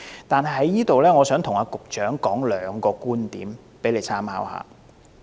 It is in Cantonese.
但是，我想在此跟局長提出兩個觀點，以供參考。